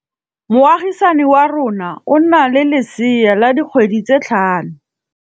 Moagisane wa rona o na le lesea la dikgwedi tse tlhano.